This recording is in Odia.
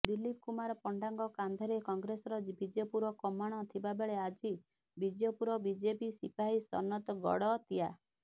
ଦିଲ୍ଲୀପ କୁମାର ପଣ୍ଡାଙ୍କ କାନ୍ଧରେ କଂଗ୍ରେସର ବିଜେପୁର କମାଣ ଥିବାବେଳେ ଆଜି ବିଜେପୁର ବିଜେପି ସିପାହୀ ସନତ ଗଡ଼ତିଆ